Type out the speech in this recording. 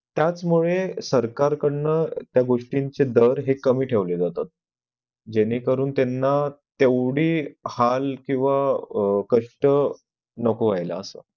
त्याचमुळे सरकार कडन त्या गोष्टीचे दर हे कमी ठेवले जातात ज्याने करून त्यांना तेव्हडी हाल किंवा कष्ट नको होईला असं